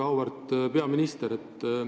Väga auväärt peaminister!